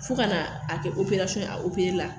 Fo ka na a kɛ ye a la